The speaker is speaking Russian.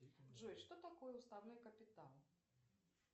джой что такое уставной капитал